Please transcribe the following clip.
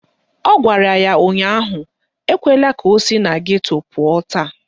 Ọ gwara ya ụnyaahụ "Ekwela ka o si na geto pụọ taa"!